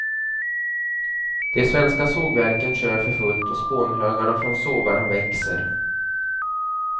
De svenska sågverken kör för fullt och spånhögarna från sågarna växer.